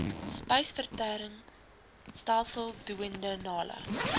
spysvertering stelsel duodenale